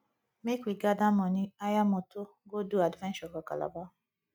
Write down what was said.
make we gather money hire moto go do adventure for calabar